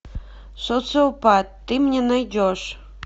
социопат ты мне найдешь